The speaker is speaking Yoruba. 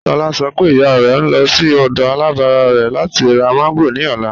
Tólá ṣọ̀ pé ìyà rẹ̀ ń lọ̀ sí ọdọ̀ alábárà rẹ̀ láti rá mango ni ọlá